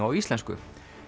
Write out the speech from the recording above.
á íslensku